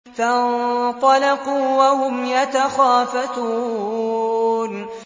فَانطَلَقُوا وَهُمْ يَتَخَافَتُونَ